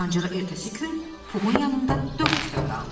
Ancaq ertəsi gün Puxun yanında dörd küpə qaldı.